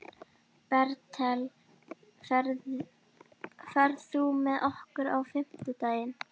Bertel, ferð þú með okkur á fimmtudaginn?